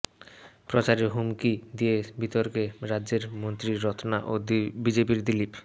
প্রচারে হুমকি দিয়ে বিতর্কে রাজ্যের মন্ত্রী রত্না ও বিজেপির দিলীপ